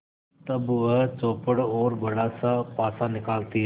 तब वह चौपड़ और बड़ासा पासा निकालती है